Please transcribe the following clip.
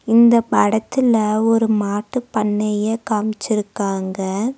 இந்த படத்துல ஒரு மாட்டு பண்ணையை காமிச்சிருக்காங்க.